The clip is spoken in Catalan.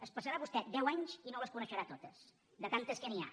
es passarà vostè deu anys i no les coneixerà totes de tantes que n’hi ha